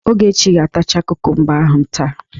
Ogechi ga-atacha kukumba ahụ taa!